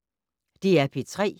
DR P3